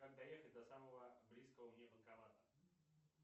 как доехать до самого близкого мне банкомата